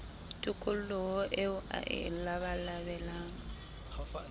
tokoloho eo a e labalabelang